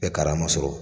Bɛɛ karama sɔrɔ